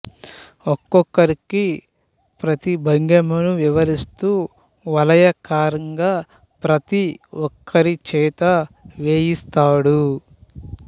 ఒక్కొక్కరికీ ప్రతి భంగిమనూ వివరిస్తూ వలయాకారంగా ప్రత ఒక్కరి చేతా చేయిస్తాడు